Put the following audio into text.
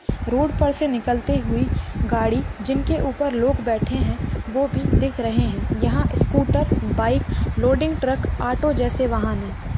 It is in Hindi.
रोड पर से निकलती हुई गाड़ी जिनके ऊपर लोग बैठे है वो भी दिख रहे है यहाँ scooter bike loading truck auto जैसे वाहन है।